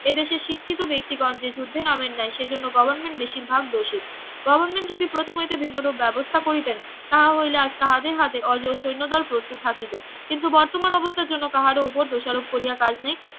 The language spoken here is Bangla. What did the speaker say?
এদেশে শিক্ষিত ব্যক্তিগণ যে যুদ্ধে নামেন নাই সে জন্য গভর্নমেন্ট বেশিরভাগ দোষী গভর্নমেন্ট যদি প্রথম হইতে ভিন্ন রূপ ব্যবস্থা করিতেন তাহা হইলে আজ তাদের হাতে অজেয় সৈন্যদল প্রস্তুত থাকিত কিন্তু বর্তমান অবস্থার জন্য কাহারও ওপর দোষারোপ করিয়া কাজ নেই